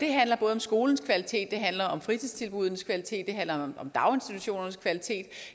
om skolens kvalitet det handler om fritidstilbuddenes kvalitet det handler om daginstitutionernes kvalitet